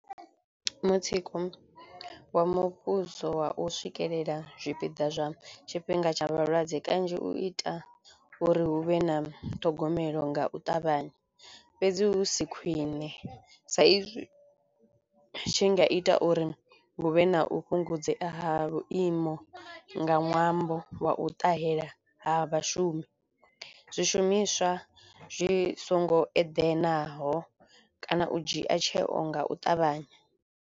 Mutsiko wa muvhuso wa u swikelela zwipiḓa zwa tshifhinga tsha vhalwadze kanzhi u ita uri hu vhe na ṱhogomelo nga u ṱavhanya fhedzi hu si khwine sa izwi u tshi nga ita uri huvhe na u fhungudzea ha vhuimo nga ṅwambo wa u ṱahela ha vhashumi zwishumiswa zwi songo eḓenaho kana u dzhia tsheo nga u ṱavhanya.